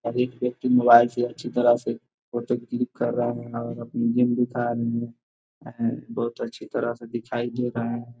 एक व्यक्ति मोबाइल से अच्छी तरह से फोटो क्लिक कर रहा है और बहोत अच्छी तरह से दिखाई दे रहा है।